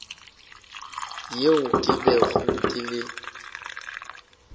yeo ke bego ke le